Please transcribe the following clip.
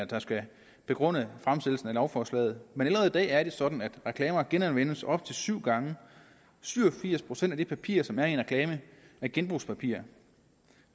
der skal begrunde fremsættelsen af lovforslaget men allerede i dag er det sådan at reklamer genanvendelse op til syv gange syv og firs procent af det papir som er i en reklame er genbrugspapir